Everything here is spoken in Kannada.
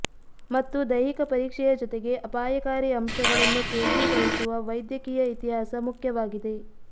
ಮತ್ತು ದೈಹಿಕ ಪರೀಕ್ಷೆಯ ಜೊತೆಗೆ ಅಪಾಯಕಾರಿ ಅಂಶಗಳನ್ನು ಕೇಂದ್ರೀಕರಿಸುವ ವೈದ್ಯಕೀಯ ಇತಿಹಾಸ ಮುಖ್ಯವಾಗಿದೆ